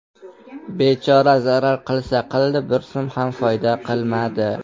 Bechora zarar qilsa qildi , bir so‘m ham foyda qilmadi.